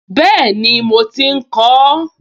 Bẹ́ẹ̀ni, mo ti ń kọ ọ́